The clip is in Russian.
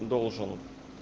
должен